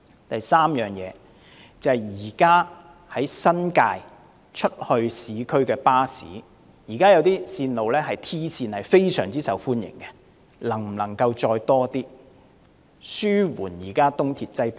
第三，現時由新界到市區的一些 "T 線"巴士非常受歡迎，可否再增加一些，以紓緩東鐵的客量？